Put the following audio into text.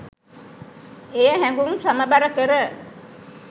එය හැඟුම් සමබර කර